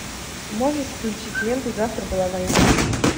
можешь включить ленту завтра была война